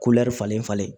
falen falen